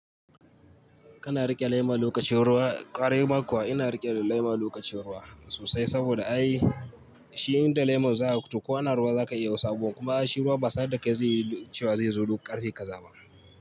Kana riƙe lema lokacin ruwa, ƙwarai ma kuwa ina riƙe lema lokacin ruwa sosai saboda ai shi inda lemor zaka futo ko ana ruwa za ka iya wasu abubuwan kuma shi ruwa ba sanar da kai zai yi cewa zai zo duk ƙarfe ƙaza ba.